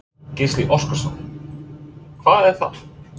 Gísli Óskarsson: Hvað er það?